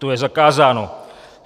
To je zakázáno.